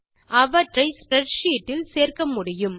அவற்றை ஸ்ப்ரெட்ஷீட் இல் சேர்க்க முடியும்